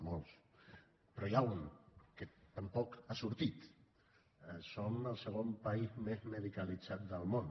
molts però n’hi ha un que tampoc ha sortit som el segon país més medicalitzat del món